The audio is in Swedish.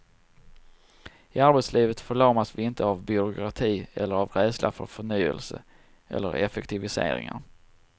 I arbetslivet förlamas vi inte av byråkrati eller av rädsla för förnyelse eller effektiviseringar.